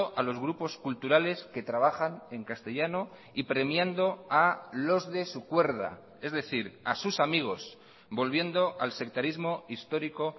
a los grupos culturales que trabajan en castellano y premiando a los de su cuerda es decir a sus amigos volviendo al sectarismo histórico